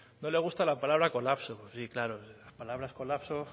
no le gusta la palabra colapso hombre claro la palabra colapso